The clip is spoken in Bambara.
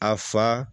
A fa